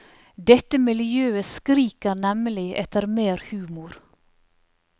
Dette miljøet skriker nemlig etter mer humor.